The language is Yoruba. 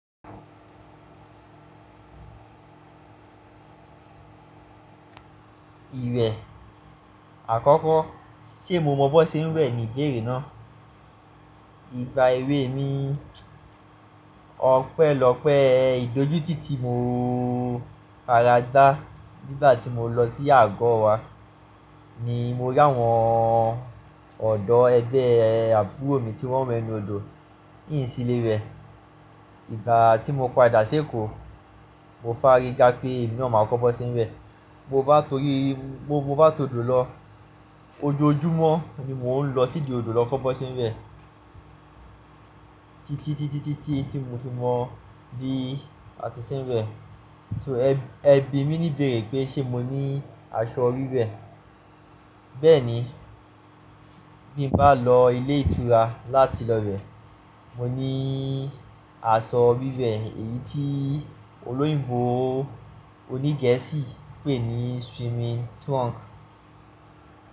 Iwẹ, àkọ́kọ́ ṣé mo mọ bó ṣe ń wẹ̀ ni ìbéèrè náà. Ìgbà èwe mi ọpẹ́lọ́pẹ́ ìdójútì ti mo faradá nígbà tí mo lọ sí àgọ́ wa ni mo rí àwọn ọ̀dọ́ ẹgbẹ́ àbúrò mi tí wọ́n nwẹ ninu òdò n sí lé wẹ̀. Ìgbà tí mo padà sí Èkó, mo fàríga pé èmi naa máa kọ́ bi won n ṣe wẹ̀. Mo bá torí, mo m bá tọ òdò lọ, ojoojúmọ́ ni mò ń lọ sí idi òdò lọ kọ́ bi won ṣe ń wẹ̀. Tí tí tí tí tí tí tí mo fi mọ bí a ti ń ṣe n wẹ̀. So ẹbí mi níbéèrè pé ṣé mo ní aṣọ wíwẹ̀. Bẹ́ẹ̀ni, bí mo bá lọ ilé ìtura láti lọ wẹ̀, mo ní aṣọ wíwẹ̀ èyí tí olóyìnbo oní Gẹ̀ẹ́sì ń pè ní swimming trunk.